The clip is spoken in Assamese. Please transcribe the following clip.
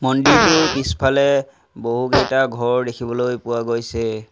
মন্দিৰটোৰ পিছফালে বহুকেইটা ঘৰ দেখিবলৈ পোৱা গৈছে।